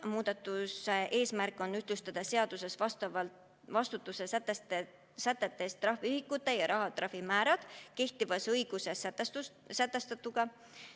Muudatuse eesmärk on ühtlustada seaduses vastutuse sätetes trahviühikute ja rahatrahvi määrad kehtivas õiguses sätestatuga.